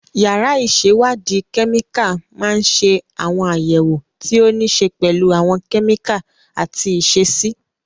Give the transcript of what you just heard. Yàrá ìṣèwádìí kẹ́míkà máa ń ṣe àwọn àyẹ̀wò tí ó níí ṣe pẹ̀lú àwọn kẹ́míkà àti ìṣesí.